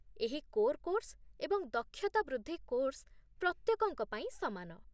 ଏହି core course ଏବଂ ଦକ୍ଷତା ବୃଦ୍ଧି କୋର୍ସ ପ୍ରତ୍ୟେକଙ୍କ ପାଇଁ ସମାନ